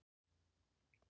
Það er Jón.